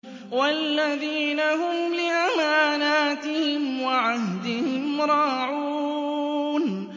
وَالَّذِينَ هُمْ لِأَمَانَاتِهِمْ وَعَهْدِهِمْ رَاعُونَ